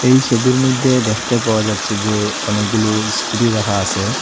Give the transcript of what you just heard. এই সোবির মইধ্যে দেখতে পাওয়া যাচ্ছে যে অনেকগুলো ইস্কুটি রাখা আসে।